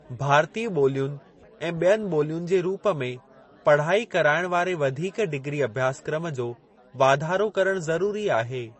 भारतीय ॿोलियुनि ऐं ॿियनि ॿोलियुनि जे रूप में पढ़ाई कराइण वारे वधीक डिग्री अभ्यासक्रम जो वाधारो करणु ज़रूरी आहे।